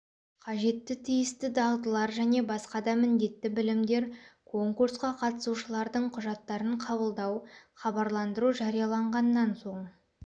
қажетті тиісті дағдылар және басқа да міндетті білімдер конкурсқа қатысушылардың құжаттарын қабылдау хабарландыру жарияланғаннан соң